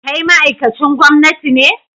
Kai ma'aikacin gwamnati ne?